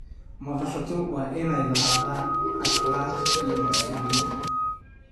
Madaxdu waa inay lahaadaan akhlaaq iyo masuuliyad.